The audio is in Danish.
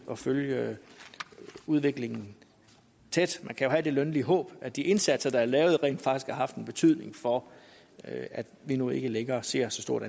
og følge udviklingen tæt man kan jo have det lønlige håb at de indsatser der er lavet rent faktisk har haft en betydning for at vi nu ikke længere ser så stort